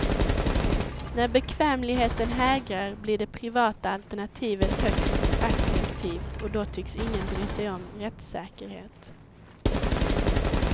När bekvämligheten hägrar blir det privata alternativet högst attraktivt och då tycks ingen bry sig om rättssäkerhet.